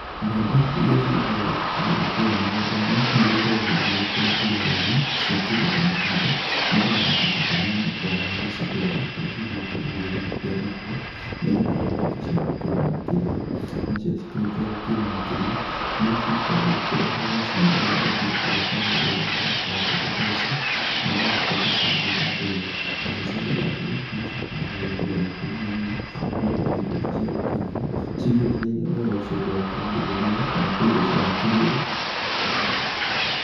Mbembe irĩa cigĩkoragwo ikĩgethwo kũrĩa mĩgũnda-inĩ, nĩigĩkoragwo igĩgĩkĩrwo turera-inĩ cia kĩndũ ta matinga nĩgetha matinga ta maya makoragwo magĩgĩcitwara kũrĩa cigũkorwo igĩgĩthiĩ gũkĩanĩkwo nĩgetha igĩtuĩke ciagũkĩuma makĩria. Cia kĩrĩkia gũkiuma makĩria nĩcikoragwo ikĩreherwo macini ĩrĩa ingĩ ĩkoragwo ĩrĩ ya gũthandũra mbembe ta ici na igagĩtuĩka cia gũgĩthandũrwo, na cio ciathandũrwo nĩgĩcokaga igekĩrwo makũnia-inĩ nĩgetha igĩtuĩke ciagũkĩigwo cigĩetereire ũhoro ũcio ũngĩ wagũkorwo igĩgĩthĩo kana kũigwo cigakĩrĩo.